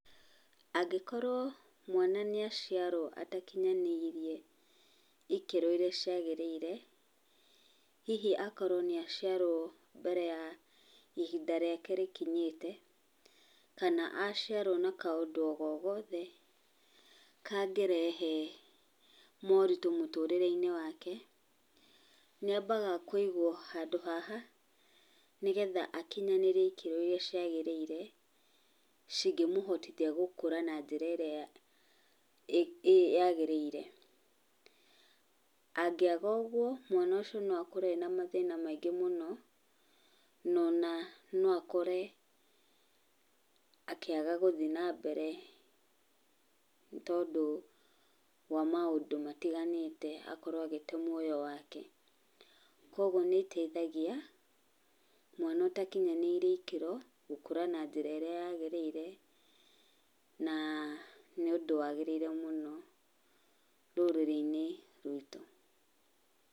Angĩkorwo mwana nĩ aciarwo atakinyanĩirie ikĩro irĩa ciagĩrĩire, hihi akorwo nĩ aciarwo ihinda rĩake rĩtakinyĩte, kana aciarwo na kaũndũ o gogothe, kangĩrehe moritũ mũtũũrĩre-inĩ wake, nĩ ambaga kũigwo haha nĩgetha akinyanĩrie ikĩro irĩa ciagĩrĩire, cingĩmũhotithia gũkũra na njĩra ĩrĩa ĩĩ yaagĩrĩire. Angĩaga ũguo mwana ũcio no akũre ena mathĩna maingĩ mũno ona no akore akĩaga gũthiĩ na mbere nĩ tondũ wa maũndũ matiganĩte, akorwo agĩte muoyo wake. Koguo nĩ ĩteithagia mwana ũtakinyanĩire ikĩro gũkũra na njĩra ĩrĩa yaagĩrĩire na nĩ ũndũ waagĩrĩire mũno rũrĩrĩ-inĩ rwitũ.